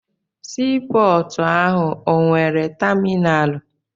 Sii pọọtụ ahụ o nwere taminalụ?